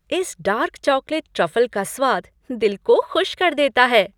इस dark chocolate truffle का स्वाद दिल को खुश कर देता है।